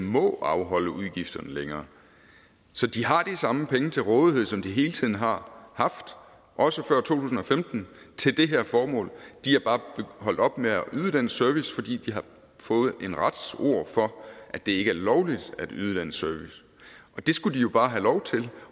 må afholde udgifterne længere så de har de samme penge til rådighed som de hele tiden har haft også før to tusind og femten til det her formål de er bare holdt op med at yde den service fordi de har fået en rets ords for at det ikke er lovligt at yde den service det skulle de jo bare have lov til